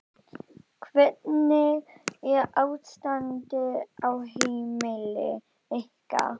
Hvernig er ástandið á heimili ykkar?